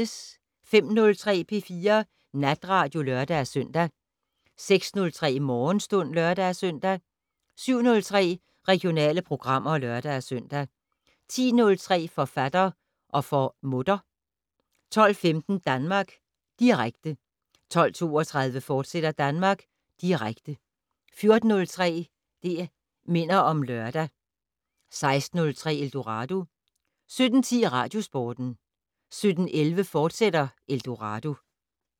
05:03: P4 Natradio (lør-søn) 06:03: Morgenstund (lør-søn) 07:03: Regionale programmer (lør-søn) 10:03: Forfatter - og for mutter 12:15: Danmark Direkte 12:32: Danmark Direkte, fortsat 14:03: Det' Minder om Lørdag 16:03: Eldorado 17:10: Radiosporten 17:11: Eldorado, fortsat